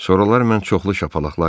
Sonralar mən çoxlu şapalaqlar yedim.